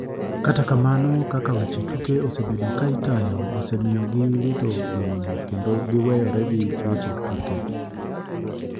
Kata kamano kaka weche tuke osebedi ka itayo osemiyo gi wito geno kendo giweyore gi weche tuke.